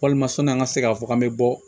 Walima sɔn'an ka se k'a fɔ k'an bɛ bɔ